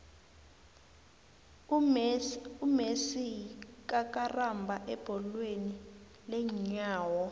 umessie yikakarambha ebholweni leenyawo